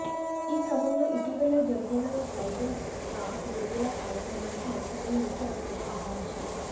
ఈక్రమంలో ఇటీవలే జరిగిన title track విడుదల కార్యక్రమానికి లక్ష్మిని ముఖ్య అతిథిగా ఆహ్వానించారు